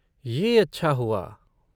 ये अच्छा हुआ।